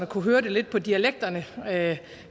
kunne høre det lidt på dialekterne herre